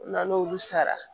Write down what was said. O la n'olu sara